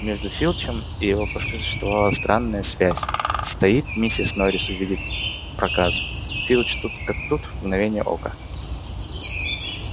между филчем и его кошкой существовала странная связь стоит миссис норрис увидеть проказу филч тут как тут в мгновение ока